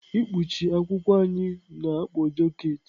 Ikpuchi akwụkwọ anyị na-akpọ jaket.